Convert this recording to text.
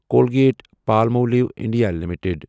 Colgate Palmolive India limited